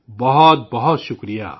بہت بہت شکریہ